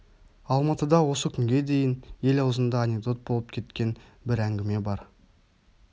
алматыда осы күнге дейін ел аузында анекдот болып кеткен бір әңгіме бар